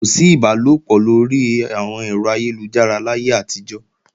Kò sí ìbálòpọ̀ lórí àwọn ẹ̀rọ ayélujára láyé àtijọ́